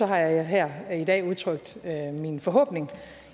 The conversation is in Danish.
har jeg her i dag udtrykt min forhåbning